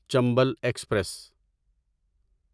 Chambal express